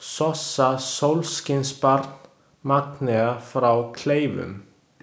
Sossa sólskinsbarn, Magnea frá Kleifum